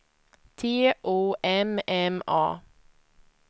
T O M M A